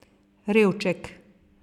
Revček.